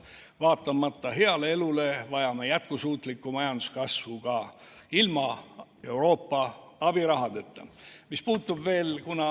Vaatamata heale elule vajame jätkusuutlikku majanduskasvu ka ilma Euroopa abirahata.